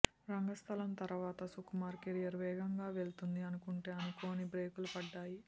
రంగస్థలం తర్వాత సుకుమార్ కెరీర్ వేగంగా వెళ్తుంది అనుకుంటే అనుకోని బ్రేకులు పడ్డాయి